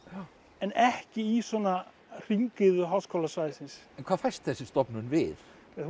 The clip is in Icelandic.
en ekki í svona hringiðu háskólasvæðisins en hvað fæst þessi stofnun við hún